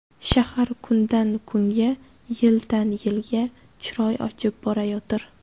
Shahar kundan-kunga, yildan-yilga chiroy ochib borayotir.